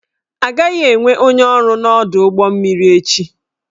Agaghị enwe onye ọrụ n'ọdụ ụgbọ mmiri echi